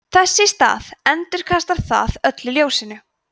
þess í stað endurkastar það öllu ljósinu